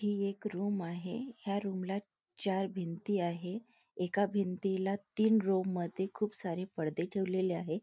ही एक रूम आहे ह्या रूम ला चार भिंती आहे एका भिंतीला तीन रोव मध्ये खूप सारे पडदे ठेवलेले आहे.